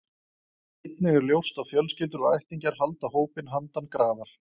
Einnig er ljóst að fjölskyldur og ættingjar halda hópinn handan grafar.